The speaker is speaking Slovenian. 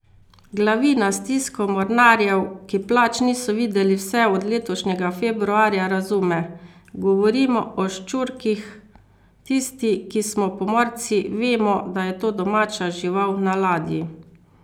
Glavina stisko mornarjev ki plač niso videli vse od letošnjega februarja razume: 'Govorimo o ščurkih, tisti, ki smo pomorci, vemo, da je to domača žival na ladji.